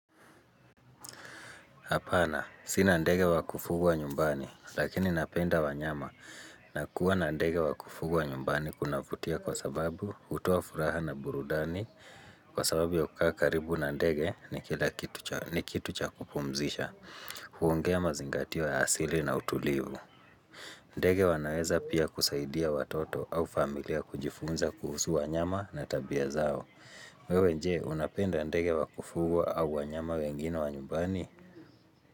Hapana, sina ndege wa kufugwa nyumbani, lakini napenda wanyama na kuwa na ndege wa kufugwa nyumbani kunavutia kwa sababu hutoafuraha na burudani kwa sababu ya kukaa karibu na ndege ni kila kitu cha kitu cha kupumzisha, huongea mazingatio ya asili na utulivu. Ndege wanaweza pia kusaidia watoto au familia kujifunza kuhusu wa nyama na tabia zao. Wewe nje, unapenda ndege wa kufugwa au wanyama wengine wa nyumbani?